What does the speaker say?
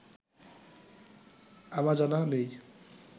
আমা জানা নেই